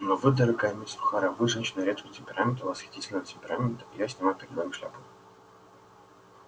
но вы дорогая мисс охара вы женщина редкого темперамента восхитительного темперамента и я снимаю перед вами шляпу